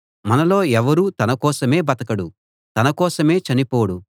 మనలో ఎవరూ తన కోసమే బతకడు తన కోసమే చనిపోడు